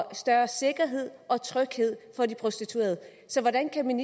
større sikkerhed og tryghed for de prostituerede så hvordan kan